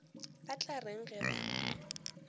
ba tla reng ge ba